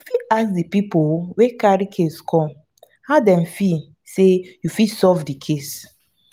you fit ask di pipo wey carry case come how dem feel sey you fit solve do case